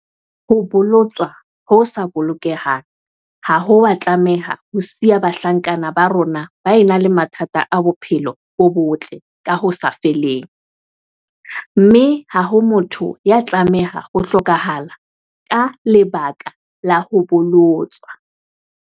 Ho bolo-tswa ho sa bolokehang ha ho a tlameha ho siya bahlankana ba rona ba ena le mathata a bophelo bo botle ka ho sa feleng, mme ha ho motho ya tlameha ho hlokahala ka leba-ka la ho bolotswa.